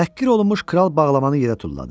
Təhqir olunmuş kral bağlamanı yerə tulladı.